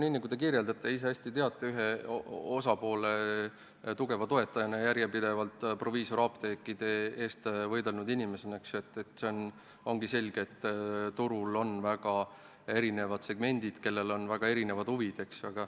Nii nagu te kirjeldate, teate te ise ühe osapoole tugeva toetajana, järjepidevalt proviisorapteekide eest võidelnud inimesena hästi, et ongi selge, et turul on väga erinevad segmendid, kellel on väga erinevad huvid.